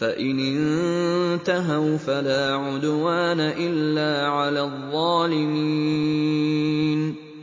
فَإِنِ انتَهَوْا فَلَا عُدْوَانَ إِلَّا عَلَى الظَّالِمِينَ